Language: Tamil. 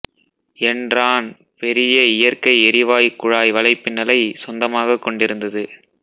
என்ரான் பெரிய இயற்கை எரிவாயு குழாய் வலைப்பின்னலை சொந்தமாகக் கொண்டிருந்தது